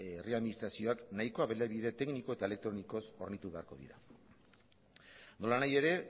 herri administrazioak nahikoa baliabide tekniko eta elektronikoz hornitu beharko dira nolanahi ere